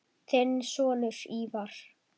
Þinn sonur, Ívar.